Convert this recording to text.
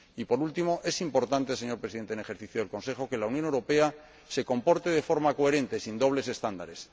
Por último, es importante, señor Presidente en ejercicio del Consejo, que la Unión Europea se comporte de forma coherente, sin dobles estándares.